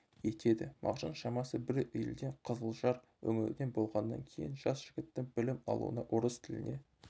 етеді мағжан шамасы бір елден қызылжар өңірінен болғаннан кейін жас жігіттің білім алуына орыс тіліне